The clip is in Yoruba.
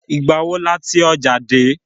Ìgbà wo la tí ọjà dé?